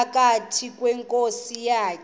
phakathi kweenkosi zakhe